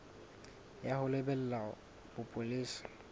ya ho lebela ya bopolesa